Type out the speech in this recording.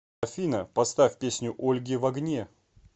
афина поставь песню ольги в огне